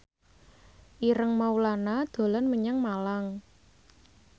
Ireng Maulana dolan menyang Malang